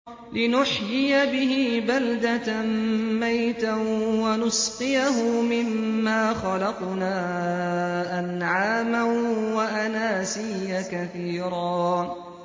لِّنُحْيِيَ بِهِ بَلْدَةً مَّيْتًا وَنُسْقِيَهُ مِمَّا خَلَقْنَا أَنْعَامًا وَأَنَاسِيَّ كَثِيرًا